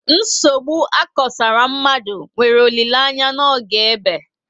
Nsogbu akosara mmadụ nwere olileanya n'oge ébé